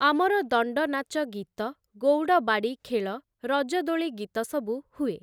ଆମର ଦଣ୍ଡନାଚ ଗୀତ, ଗୌଡ଼ବାଡ଼ି ଖେଳ, ରଜଦୋଳି ଗୀତ ସବୁ ହୁଏ ।